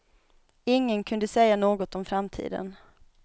Ingen kunde säga något om framtiden.